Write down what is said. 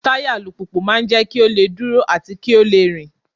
Táyà alùpùpù máa ń jẹ́ kí ó lè dúró àti kí ó lè rìn.